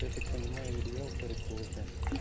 я так понимаю риэлторы тоже